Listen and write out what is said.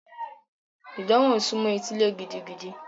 Ìdánwò ń sunmọ́ etílé gidigidi.